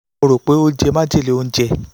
mo ní ohun tí mo rò pé ó jẹ́ májèlé oúnjẹ